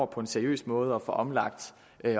på en seriøs måde når at få omlagt